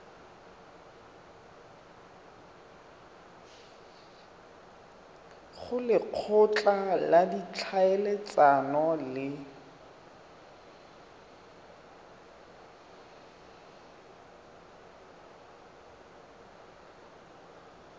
go lekgotla la ditlhaeletsano le